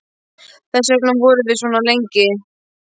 Þess vegna vorum við svona lengi.